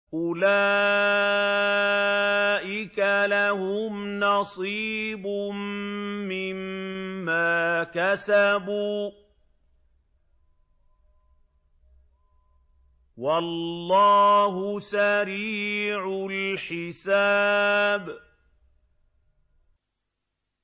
أُولَٰئِكَ لَهُمْ نَصِيبٌ مِّمَّا كَسَبُوا ۚ وَاللَّهُ سَرِيعُ الْحِسَابِ